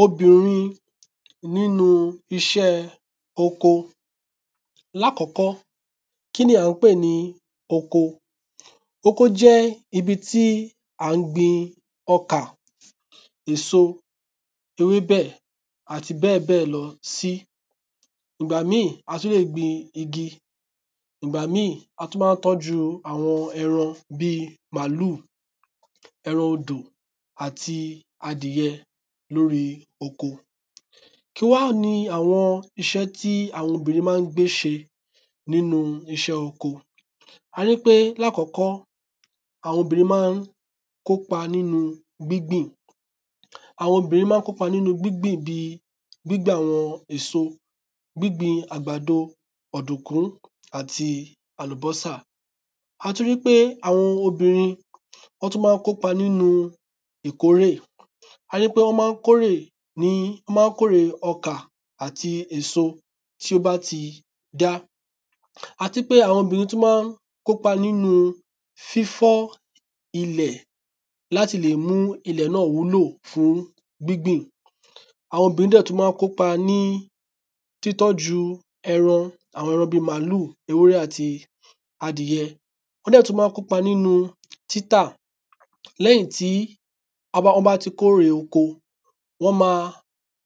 Obìnrin n'ínu iṣẹ́ oko Oko jẹ́ ibi tí a gbin ọkà, ewébẹ̀ àti bẹ́ẹ̀ bẹ́bẹ̀ lọ. Ìgbà míì a tú lè gbin igi. Ìgbà míì a tú má ń tọ́jú àwọn ẹran bí i màlúù, ẹran odò àti adìyẹ l'órí oko. Kí wá ni iṣẹ́ tí àwọn obìnrin má ń gbé ṣe n'ínu iṣẹ́ oko? A rí pé, l'ákọ́kọ́, àwọn obìnrin má ń kó 'pa n'ínu gbígbìn. Àwọn obìnrin má ń kó 'pa n'ínu gbígbìn bi gbígbìn àwọn èso Gbígbìn àgbàdo, ọ̀dùnkún, àti àlùbọ́sà A tú rí pé àwọn obìnrin ọ́ tú má ń ko 'pa n'ínu ìkórè Á yẹ́ pé ọ́ má ń kórè ọ́ má ń kórè ọkà àti èso. tí ó bá ti dá À ti pé àwọn obìnrin tú má ń ko 'pa n'ínu fífọ́ ilẹ̀ l'áti lè mú ilẹ̀ náà wúlò fún gbígbìn Àwọn obìnrin dẹ̀ tú má ń kó 'pa ní títọ́ju ẹran; àwọn ẹran bí màlúù, ewúrẹ́ àti adìyẹ Wọ́n dẹ̀ tú má ń kó 'pa n'ínu títà L'ẹ́yìn tí ọ́ bá ti kórè oko, wọ́n ma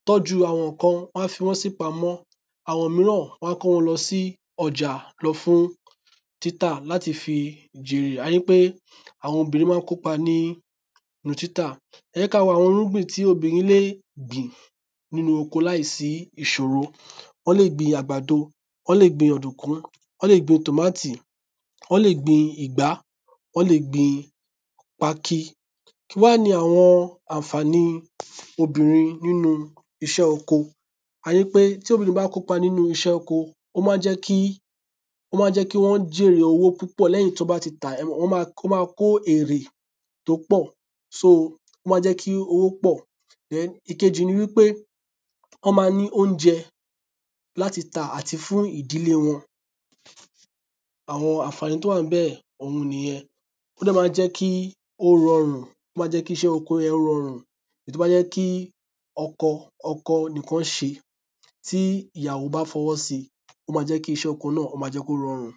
tọ́jú àwọn ǹkan Wọ́n a fi wọn s'ípamọ́ Àwọn míràn wọ́n a kó wọn lọ sí ọjà lọ fún títà l'áti fi jèrè Á yẹ́ pé àwọn obìnrin má ń ko 'pa ní nu títà. Ẹ jẹ́ k'á wo àwọn irúgbìn tí obìnrin lé gbìn láì sí ìṣòro. Ọ́ lè gbin àgbàdo. Ọ́ lè gbin ọ̀dùnkún. Ọ́ lè gbin tómáàtì. Ọ́ lè gbin ìgbá. Ọ́ lè gbin pákí. Kí wá ni àwọn ànfàni n'ínu iṣẹ́ oko? Á yẹ́ pé tí obìnrin bá k’ó 'pa n'ínu iṣẹ́ oko ó má ń jẹ́ kí Ó má ń jẹ́ kí wọ́n jèrè owó púpọ̀ l'ẹ́yìn t'ọ́ bá ti tà á Wọ́n ma kó èrè t’ó ọ̀. Ó ma jẹ́ kí owó pọ̀. Ìkejì ni wí pé, ọ́ ma ní óunjẹ l'áti tà àti fún ìdílé wọn. Àwọn ànfàni t’ó wà n bẹ̀, òun nì yẹn. Wọ́n dẹ̀ má jẹ́ kí ó rọrùn Wọ́n má ńjẹ́ kí iṣẹ́ oko yẹn rọrùn Èyí t'ó bá jẹ́ kí oko nìkan ṣe tí ìyàwo bá f'ọwọ́ si, ó má jẹ́ kí iṣẹ́ oko náà ó má jẹ́ kí ó rorùn